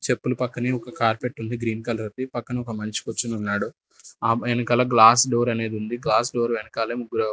చెప్పులు పక్కనే ఒక కార్పెట్ ఉంది గ్రీన్ కలర్ ది పక్కన ఒక మనిషి కూర్చునున్నాడు ఆపై ఎనకాల గ్లాస్ డోర్ అనేది ఉంది గ్లాస్ డోర్ వెనకాలే ముగ్గురు --